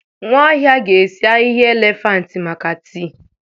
Nwaohia ga-esi ahịhịa elefantị maka tii.